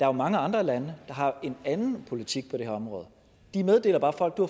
er mange andre lande har en anden politik på det her område de meddeler bare folk du